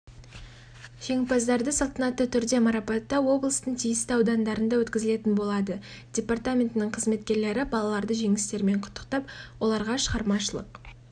жеңімпаздарды салтанаты түрде марапаттау облыстың тиісті аудандарында өткізілетін болады департаментінің қызметкерлері балаларды жеңістерімен құттықтап оларға шығармашылық